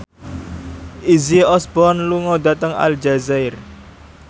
Izzy Osborne lunga dhateng Aljazair